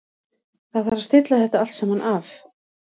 Það þarf að stilla þetta allt saman af.